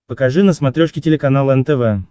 покажи на смотрешке телеканал нтв